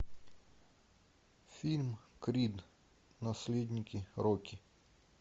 фильм крид наследники рокки